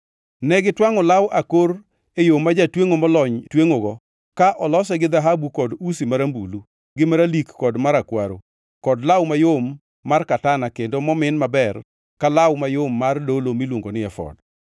Ne gitwangʼo law akor e yo ma jatwengʼo molony twengʼogo ka olose gi dhahabu kod usi marambulu, gi maralik kod marakwaro kod law mayom mar katana kendo momin maber ka law mayom mar dolo miluongo ni efod.